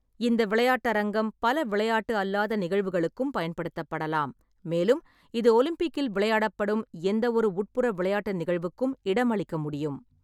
இந்த விளையாட்டரங்கம் பல விளையாட்டு அல்லாத நிகழ்வுகளுக்கும் பயன்படுத்தப்படலாம், மேலும் இது ஒலிம்பிக்கில் விளையாடப்படும் எந்தவொரு உட்புற விளையாட்டு நிகழ்வுக்கும் இடமளிக்க முடியும்.